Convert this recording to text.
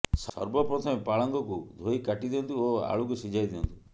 ସର୍ବପ୍ରଥମେ ପାଳଙ୍ଗକୁ ଧୋଇ କାଟିଦିଅନ୍ତୁ ଓ ଆଳୁକୁ ସିଝାଇ ଦିଅନ୍ତୁ